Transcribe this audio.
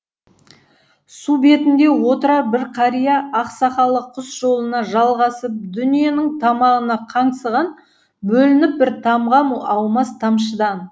су бетінде отырар бір қария ақ сақалы құс жолына жалғасып дүниенің тамағына қаңсыған бөлініп бір тамған аумас тамшыдан